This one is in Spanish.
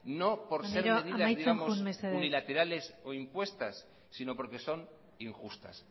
maneiro amaitzen joan mesedez no por ser medidas digamos unilaterales o impuestas sino porque son injustas